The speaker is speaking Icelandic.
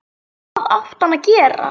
Hvað átti hann að gera?